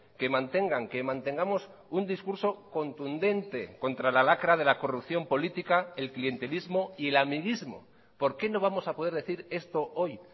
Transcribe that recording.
que mantengan que mantengamos un discurso contundente contra la lacra de la corrupción política el clientelismo y el amiguismo por qué no vamos a poder decir esto hoy